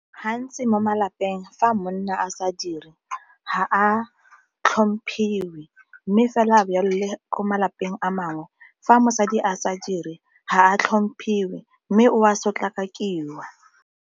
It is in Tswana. Gantsi mo malapeng fa monna a sa dire ga a tlhomphiwi, mme fela a ko malapeng a mangwe fa mosadi a sa dire ga a tlhomphiwe mme o a sotlakakiwa.